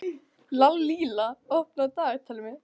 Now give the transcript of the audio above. Lalíla, opnaðu dagatalið mitt.